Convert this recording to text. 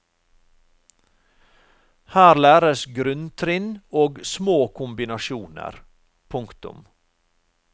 Her læres grunntrinn og små kombinasjoner. punktum